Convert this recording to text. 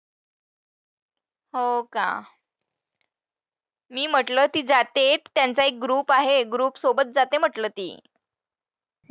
हो का? मी म्हंटलं ती जाते त्यांचा एक group आहे, group सोबत जाते म्हंटलं ती.